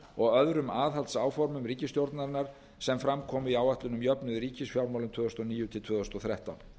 og öðrum aðhaldsáformum ríkisstjórnarinnar sem fram komu í áætlun um jöfnuð í ríkisfjármálum tvö þúsund og níu til tvö þúsund og þrettán